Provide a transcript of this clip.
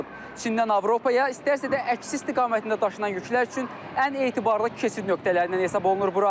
Çindən Avropaya, istərsə də əksi istiqamətində daşınan yüklər üçün ən etibarlı keçid nöqtələrindən hesab olunur bura.